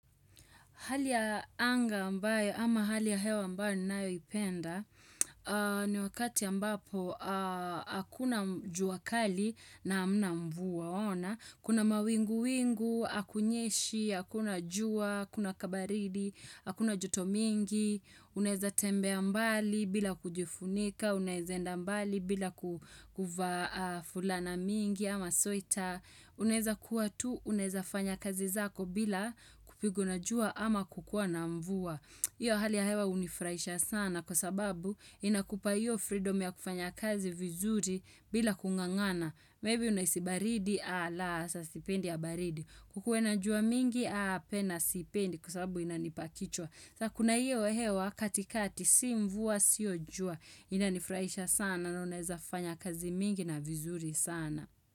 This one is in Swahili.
Hali ya anga ambayo ama hali ya hewa ambayo ninayoipenda ni wakati ambapo hakuna jua kali na hamna mvua waona. Kuna mawingu-wingu, hakunyeshi, hakuna jua, kuna kabaridi, hakuna joto mingi, unaeza tembea mbali bila kujifunika, unaweza enda mbali bila kuvaa fulana mingi ama sweta. Unaweza kuwa tu, uneza fanya kazi zako bila kupigwa na jua ama kukuwa na mvua Iyo hali ya hewa hunifurahisha sana kwa sababu inakupa iyo freedom ya kufanya kazi vizuri bila kung'ang'ana. Maybe unahisi baridi ala saa sipendi ya baridi. Kukuwe najua mingi apana sipendi kwa sababu inanipa kichwa Kuna iyo hewa katikati si mvua sio jua Inanifurahisha sana na unaeza fanya kazi mingi na vizuri sana.